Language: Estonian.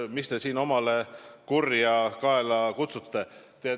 Miks te siin omale kurja kaela kutsute?